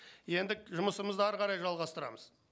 енді жұмысымызды әрі қарай жалғастырамыз